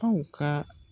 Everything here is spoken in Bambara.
Aw ka